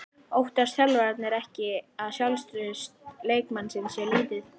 Óttast þjálfararnir ekki að sjálfstraust leikmannsins sé lítið?